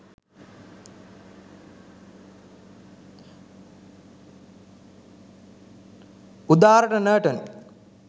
udarata natum